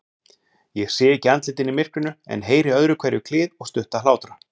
Ég sé ekki andlitin í myrkrinu, en heyri öðruhverju klið og stutta hlátra.